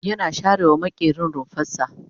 yana share wa maƙerin rumfarsa